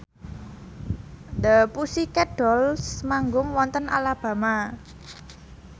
The Pussycat Dolls manggung wonten Alabama